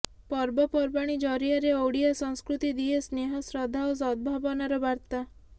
ପର୍ବପର୍ବାଣୀ ଜରିଆରେ ଓଡ଼ିଆ ସଂସ୍କୃତି ଦିଏ ସ୍ନେହ ଶ୍ରଦ୍ଧା ଓ ସଦ୍ଭାବନାର ବାର୍ତ୍ତା